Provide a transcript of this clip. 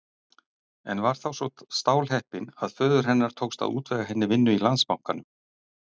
En var þá svo stálheppin að föður hennar tókst að útvega henni vinnu í Landsbankanum.